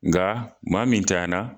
Nka maa min ntayana